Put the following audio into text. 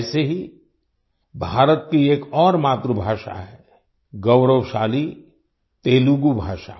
ऐसे ही भारत की एक और मातृभाषा है गौरवशाली तेलुगू भाषा